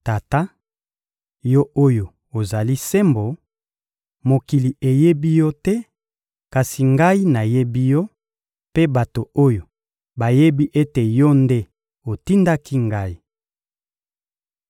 Tata, Yo oyo ozali sembo, mokili eyebi Yo te; kasi Ngai nayebi Yo, mpe bato oyo bayebi ete Yo nde otindaki Ngai.